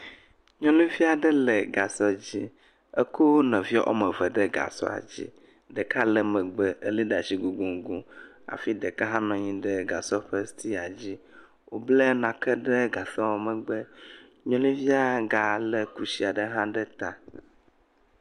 Nyɔnuvi aɖe le gasɔ dzi. Ekɔ nɔvia woa me eve ɖe gasɔa dzi. Ɖeka le megbe, ele ɖe asi gogoŋgoŋ, hafi ɛeka hẽ nɔ anyi ɖe gasɔ ɖe stiya dzi. Wobla nake ɖe gasɔ megbe. Nyɔnuvia ga le kusi aɖe ɖe ta.